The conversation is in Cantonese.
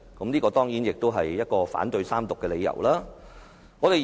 這當然也是反對三讀的理由之一。